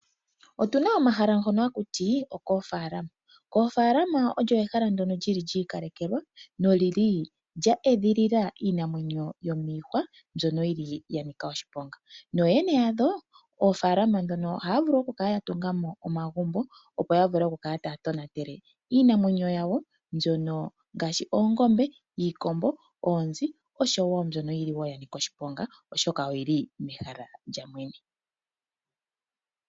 Otu na omahala ngono haku ti, okofaalama. Koofalama olyo ehala ndyono lyi li lyiikalekelwa no lyi li lya edhilila iinamwenyo yomiihwa mbyono yi li yanika oshiponga. Nooyene ya dho moofalama mono oha ya vulu oku kala ya tunga mo omagumbo opo yakale taa tonatele iinamwenyo yawo ngaashi oongombe, iikombo, oonzi osho woo mbyono yi li yanika oshiponga oshoka oyi li mehala lyamwene.